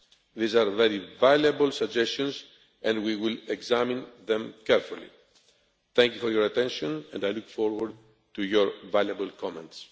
These are very valuable suggestions and we will examine them carefully. Thank you for your attention and I look forward to your valuable comments.